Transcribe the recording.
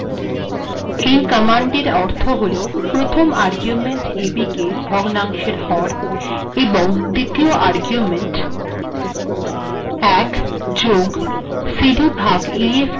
এই কমান্ডিটর অর্থ হল প্রথম আর্গুেমন্ট্ ab েক ভগ্নাংেশর লব এবং িদ্তীয় আর্গুেমন্ট ১ + cd ভাগ ef েক ভগ্নাংেশর হর িহসােব গন্য করা হেব